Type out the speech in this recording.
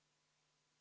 Siim Pohlak, palun!